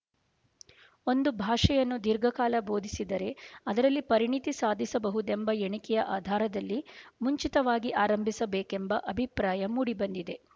ಒಂದು ಭಾಷೆಯನ್ನು ದೀರ್ಘಕಾಲ ಬೋಧಿಸಿದರೆ ಅದರಲ್ಲಿ ಪರಿಣತಿ ಸಾಧಿಸಬಹುದೆಂಬ ಎಣಿಕೆಯ ಆಧಾರದಲ್ಲಿ ಮುಂಚಿತವಾಗಿ ಆರಂಭಿಸಬೇಕೆಂಬ ಅಭಿಪ್ರಾಯ ಮೂಡಿಬಂದಿದೆ